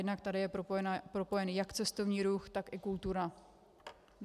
Jednak je tady propojen jak cestovní ruch, tak i kultura.